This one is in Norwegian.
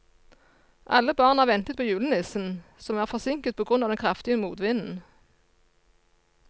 Alle barna ventet på julenissen, som var forsinket på grunn av den kraftige motvinden.